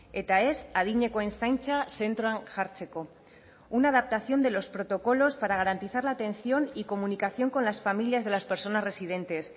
eta ez adinekoen zaintza zentroan jartzeko una adaptación de los protocolos para garantizar la atención y comunicación con las familias de las personas residentes